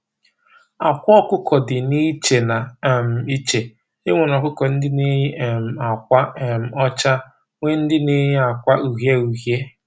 Àkwà ọkụkọ dị na iche na um iche, enwere ọkụkọ ndị n'éyi um àkwà um ọchá, nwee ndị n'éyi àkwà uhiē uhiē